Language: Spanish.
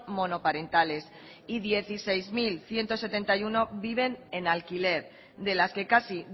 monoparentales y dieciséis mil ciento setenta y uno viven en alquiler de las que casi